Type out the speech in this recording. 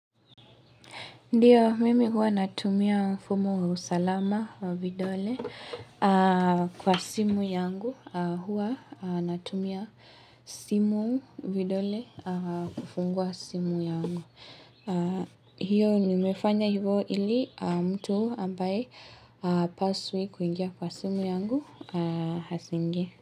Ndiyo, mimi huwa natumia mfumo wa usalama wa vidole kwa simu yangu. Huwa natumia simu vidole kufungua simu yangu. Hiyo, nimefanya hivyo ili mtu ambaye hapaswi kuingia kwa simu yangu asiingie.